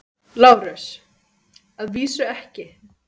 LÁRUS: Að vísu ekki.